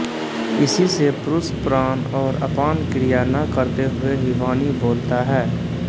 इसी से पुरुष प्राण और अपान क्रिया न करते हुए ही वाणी बोलता है